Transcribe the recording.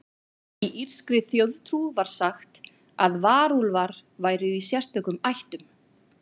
Í írskri þjóðtrú var sagt að varúlfar væru í sérstökum ættum.